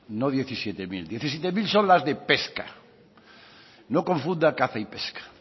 no diecisiete mil diecisiete mil son las de pesca no confunda caza y pesca